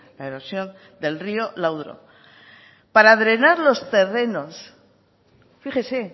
la erosión del río landro para drenar los terrenos fíjese